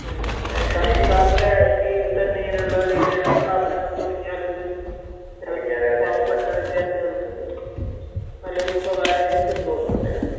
മ്..അതായത് സർക്കാരിന്റെ കീഴിൽ തന്നെ ഇങ്ങനെയുള്ള വല്ല സ്ഥാപനങ്ങൾ തുടങ്ങിയാൽ തന്നെ അത് പാവപ്പെട്ട വിദ്യാർത്ഥികൾക്ക് നല്ലൊരു ഉപകാരമായിരിക്കുമെന്ന് തോന്നുന്നുണ്ട് അല്ലെ?